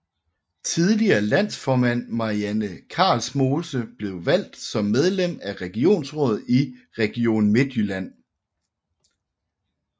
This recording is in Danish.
Tidligere landsformand Marianne Karlsmose blev valgt som medlem af regionsrådet i Region Midtjylland